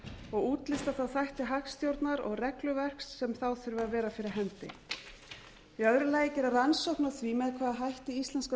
og útlista þá þætti hagstjórnar og regluverks sem þá þurfa að vera fyrir hendi b gera rannsókn á því með hvaða hætti íslenska